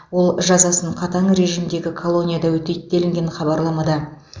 ол жазасын қатаң режимдегі колонияда өтейді делінген хабарламада